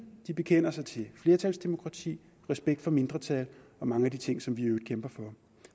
de bekender sig til et flertalsdemokrati respekt for mindretal og mange af de ting som vi i øvrigt kæmper for